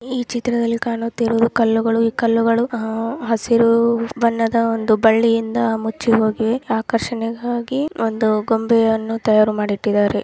ಈ ಚಿತ್ರದಲ್ಲಿ ಕಾಣುತ್ತಿರುವುದು ಕಲ್ಲುಗಳು ಈ ಕಲ್ಲುಗಳು ಅ ಹಸಿರು ಬಣ್ಣದ ಒಂದು ಬಳ್ಳಿಯಿಂದ ಮುಚ್ಚಿಹೋಗಿ ಆಕರ್ಷಣೆಗಾಗಿ ಒಂದು ಗೊಂಬೆಯನ್ನು ತಯಾರು ಮಾಡುತ್ತಿದ್ದಾರೆ.